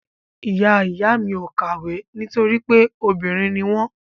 Ìyá ìyá mi ò kàwé nítorí pé obìnrin ni wọ́n.